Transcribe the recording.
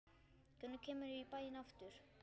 Hvenær kemurðu í bæinn aftur?